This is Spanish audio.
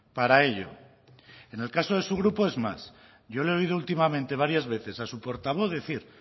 para ello en el caso de su grupo es más yo le he oído últimamente varias veces a su portavoz decir